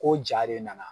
Ko ja de nana